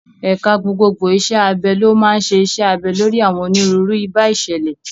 Ẹ̀ka gbogbogbò iṣẹ́ abẹ ló máa ń ṣe iṣẹ́ abẹ lórí àwọn onírúurú ìbá ìṣẹ̀lẹ̀.